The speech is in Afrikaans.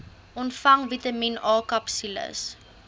ontvang vitamien akapsules